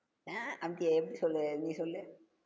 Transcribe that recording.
அஹ் அப்படியா எப்படி சொல்லு, நீ சொல்லு.